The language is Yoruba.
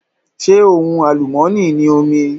Ṣé ohun àlùmọ́ni ni omi?